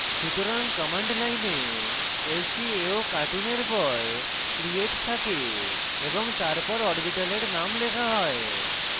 সুতরাং কমান্ড লাইনে lcaocartoon এর পর create থাকে এবং তারপর অরবিটালের নাম লেখা হয়